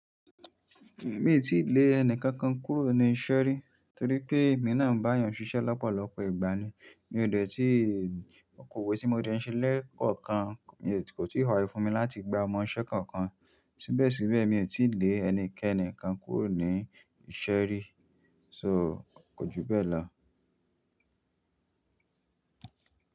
Èmi tí lè ẹni kankan kúrò ní iṣẹ́ rí torí pé mí nàá ń bá àyàn ṣiṣẹ́ lọ́pọ̀lọpọ̀ ìgbà ni. Mi ò dẹ̀ tí okòwò tí mo dẹ̀ ń ṣe lẹ́ẹ̀kọ̀kan kò tíì wáyé fún mi láti gba ọmọ iṣẹ́ kankan. Síbẹ̀síbẹ̀ mi ò tí lè ẹnikẹ́ni kan kúrò ní iṣẹ́ rí, so kò ju bẹ́ẹ̀ lọ.